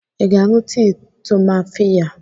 Ị ga-aṅụ tii tumfafiya?